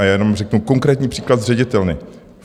A já jenom řeknu konkrétní příklad z ředitelny.